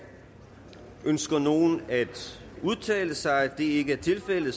ønsker nogen at udtale sig da det ikke er tilfældet